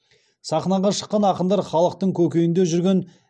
сахнаға шыққан ақындар халықтың көкейінде жүрген